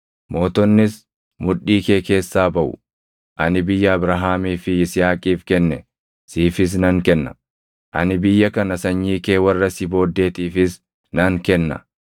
Ani biyya Abrahaamii fi Yisihaaqiif kenne siifis nan kenna; ani biyya kana sanyii kee warra si booddeetiifis nan kenna.”